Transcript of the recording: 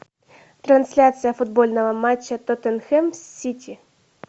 трансляция футбольного матча тоттенхэм с сити